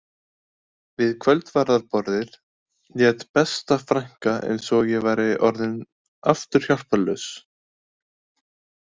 Við kvöldverðarborðið lét besta frænka eins og ég væri aftur orðin hjálparlaus